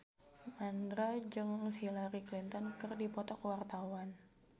Mandra jeung Hillary Clinton keur dipoto ku wartawan